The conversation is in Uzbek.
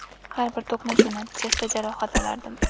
Har bir to‘qnashuv natijasida jarohat olardim.